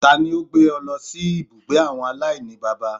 Tani ó gbé e lọ sí ibùgbé àwọn aláìníbàbá